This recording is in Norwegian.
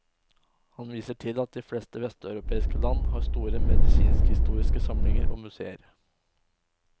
Han viser til at de fleste vesteuropeiske land har store medisinskhistoriske samlinger og museer.